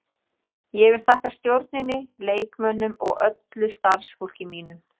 Ég vil þakka stjórninni, leikmönnunum og öllu starfsfólki mínu.